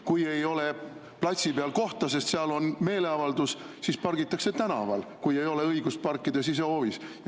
Kui ei ole platsi peal kohta, sest seal on meeleavaldus, siis pargitakse tänaval, kui ei ole õigust parkida sisehoovis.